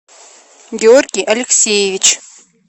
георгий алексеевич